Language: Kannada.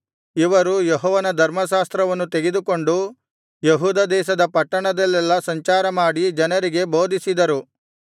ಇವರು ಯೆಹೋವನ ಧರ್ಮಶಾಸ್ತ್ರವನ್ನು ತೆಗೆದುಕೊಂಡು ಯೆಹೂದ ದೇಶದ ಪಟ್ಟಣದಲ್ಲೆಲ್ಲಾ ಸಂಚಾರ ಮಾಡಿ ಜನರಿಗೆ ಬೋಧಿಸಿದರು